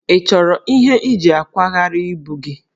Ị chọrọ ihe iji akwagharị ibu gị?